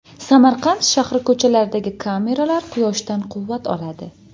Samarqand shahri ko‘chalaridagi kameralar quyoshdan quvvat oladi.